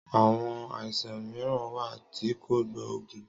Àwon àìsàn mìíràn wà tí kò gbóògùn